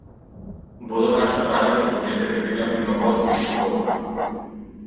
Bodo naša gradbena podjetja gradila plinovod Južni tok?